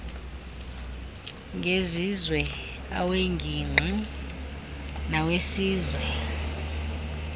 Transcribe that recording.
ngezizwe aweengingqi nawesizwe